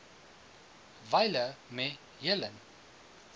wyle me helen